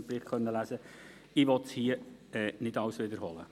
ich will hier nicht alles wiederholen.